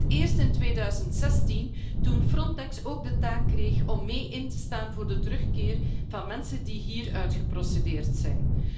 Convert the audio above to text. Voor het eerst in 2016, toen Frontex ook de taak kreeg om mee in te staan voor de terugkeer van mensen die hier uitgeprocedeerd zijn.